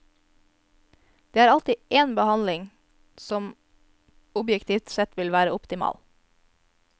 Det er alltid én behandling som objektivt sett vil være optimal.